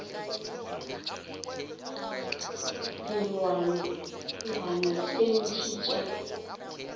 le dilwanalwana tše ntši tša